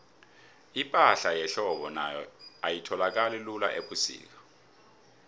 ipahla yehlobo nayo ayitholakali lula ubusika